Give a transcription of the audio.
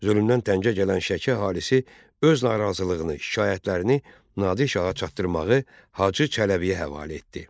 Zülmdən təngə gələn Şəki əhalisi öz narazılığını, şikayətlərini Nadir şaha çatdırmağı Hacı Çələbiyə həvalə etdi.